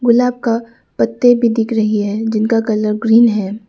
गुलाब का पत्ते भी दिख रही है जिनका कलर ग्रीन है।